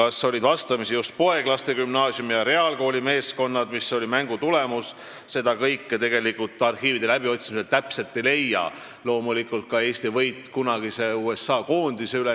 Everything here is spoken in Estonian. Seda, kas vastamisi olid just poeglaste gümnaasiumi ja reaalkooli meeskonnad ning milline oli mängu tulemus, arhiivide läbiotsimisel täpselt ei leia, loomulikult mitte ka Eesti võitu kunagise USA koondise üle.